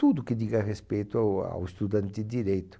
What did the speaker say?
Tudo que diga respeito ao ao estudante de direito.